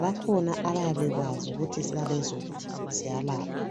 bakhona abayabe bekwazi ukuthi izihlahla lezo ziyalapha.